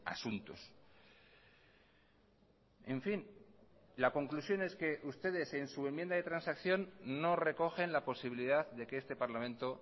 asuntos en fin la conclusión es que ustedes en su enmienda de transacción no recogen la posibilidad de que este parlamento